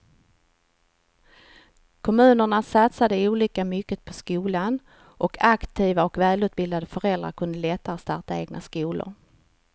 Kommunerna satsade olika mycket på skolan och aktiva och välutbildade föräldrar kunde lättare starta egna skolor.